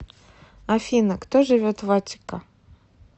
афина кто живет в аттика